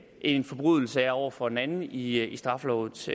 en forbrydelse er over for en anden i i straffelovens